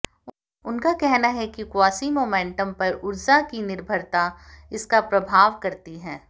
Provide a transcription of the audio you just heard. उनका कहना है कि क्वासीमोमेन्टम पर ऊर्जा की निर्भरता इसका प्रभाव करती है